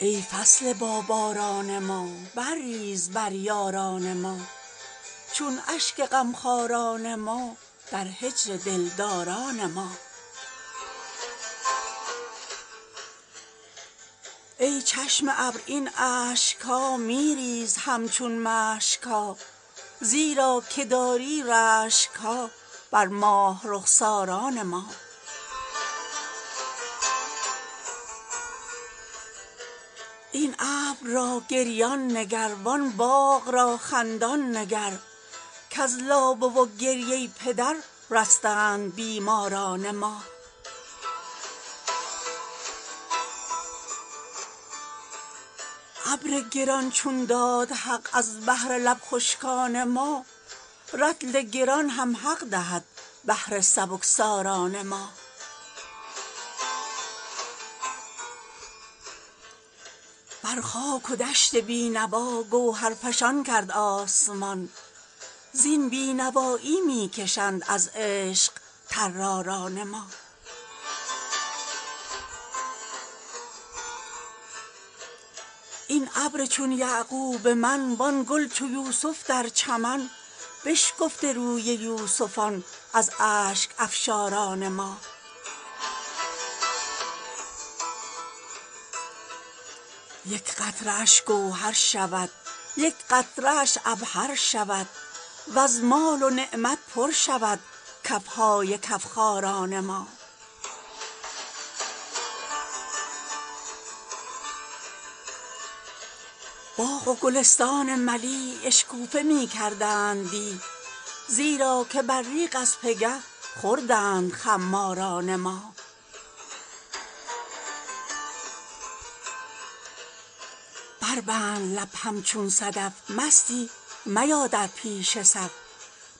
ای فصل باباران ما برریز بر یاران ما چون اشک غمخواران ما در هجر دلداران ما ای چشم ابر این اشک ها می ریز همچون مشک ها زیرا که داری رشک ها بر ماه رخساران ما این ابر را گریان نگر وان باغ را خندان نگر کز لابه و گریه پدر رستند بیماران ما ابر گران چون داد حق از بهر لب خشکان ما رطل گران هم حق دهد بهر سبکساران ما بر خاک و دشت بی نوا گوهرفشان کرد آسمان زین بی نوایی می کشند از عشق طراران ما این ابر چون یعقوب من وان گل چو یوسف در چمن بشکفته روی یوسفان از اشک افشاران ما یک قطره اش گوهر شود یک قطره اش عبهر شود وز مال و نعمت پر شود کف های کف خاران ما باغ و گلستان ملی اشکوفه می کردند دی زیرا که ابریق از پگه خوردند خماران ما بربند لب همچون صدف مستی میا در پیش صف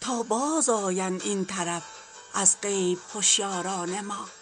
تا بازآیند این طرف از غیب هشیاران ما